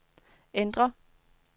ændr